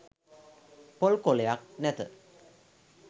පොල් කොලයක් නැත.